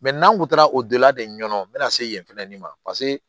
n'an kun taara o don la de ɲɛ o bɛna se yen fɛnɛ ni ma paseke